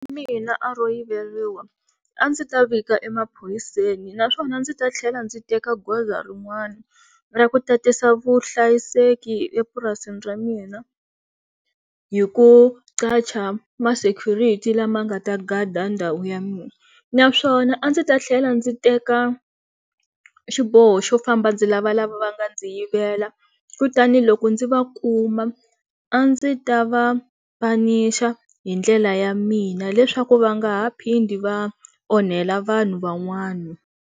Mina a ro yiveriwa a ndzi ta vika emaphoyiseni naswona a ndzi ta tlhela ndzi teka goza rin'wana ra ku tatisa vuhlayiseki epurasini ra mina hi ku ma security lama nga ta gada ndhawu ya mina naswona a ndzi ta tlhela ndzi teka xiboho xo famba ndzi lava la va va nga ndzi yivela kutani loko ndzi va kuma a ndzi ta va punish-a hi ndlela ya mina leswaku va nga ha phindi va onhela vanhu van'wana.